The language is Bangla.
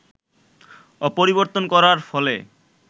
পরিবর্তন করার ফলে